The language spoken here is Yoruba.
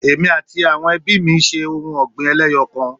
Èmi àti àwọn ebí mí ṣe ohun ọ̀gbìn eléyọkan